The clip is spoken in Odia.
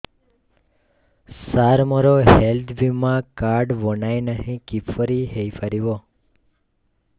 ସାର ମୋର ହେଲ୍ଥ ବୀମା କାର୍ଡ ବଣାଇନାହିଁ କିପରି ହୈ ପାରିବ